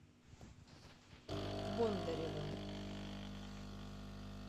бондаревым